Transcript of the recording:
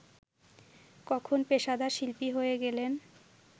কখন পেশাদার শিল্পী হয়ে গেলেন